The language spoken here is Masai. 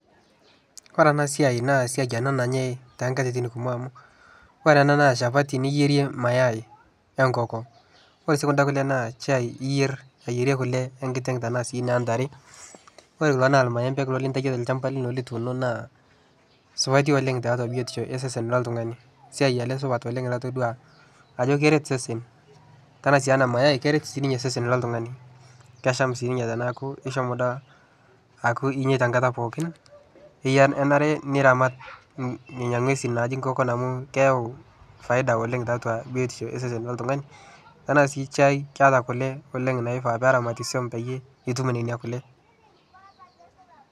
Ore ena siai naa esiai enaa nanyae too nkatitin kumok amuu, ore ena na shapati niyerie mayai wee enkoko. Ore sii kunda kulie naa shai iyer ayierie kule enkiteng' enaa sii onoontare. Ore kulo na irmaembe lintayio tolchamba lino naa supati oleng' tiatua biotisho osesen loltung'ani. Esiai ena supat na todua ajo keret isesen. kore sii ninye ena mayai keret sii ninye isesen loltung'ani. Kesham sii ninye teneeku ishomo akuu inyeitaa enkataa pookin. Iyie ormarei niramata nena ng'uesin amu keyau me faida oleng tiatua biotisho osesen loltung'ani. Ore sii shai keeta kule oleng' naifaa peramati peyie itum nena kule.